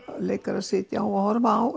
leikarar sitja á